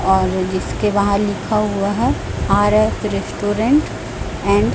और इसके बाहर लिखा हुआ है आर_एफ रेस्टोरेंट एंड --